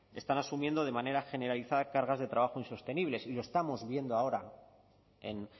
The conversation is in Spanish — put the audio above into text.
están asumiendo de manera generalizada cargas de trabajo insostenibles y lo estamos viendo ahora en